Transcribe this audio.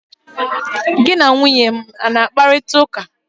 gi na nwunye m a na-akparịta ụka?